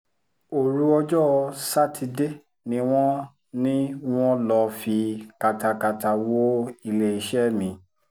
òru ọjọ́ sátidé ni wọ́n ni wọ́n lọ́ọ́ fi katakata wọ iléeṣẹ́ mi